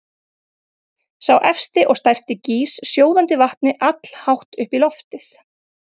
Sá efsti og stærsti gýs sjóðandi vatni allhátt upp í loftið.